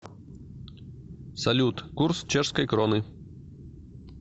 салют курс чешской кроны